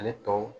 Ale tɔw